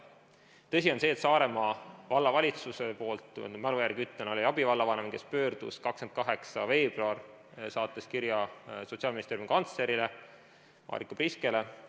Tõsi on see, et Saaremaa Vallavalitsuse poolt, ma nüüd mälu järgi ütlen, pöördus abivallavanem 28. veebruaril kirjaga Sotsiaalministeeriumi kantsleri Marika Priske poole.